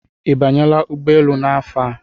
I banyela ụgbọ elu n'afọ a.